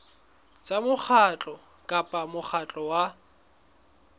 tsa mokgatlo kapa mokgatlo wa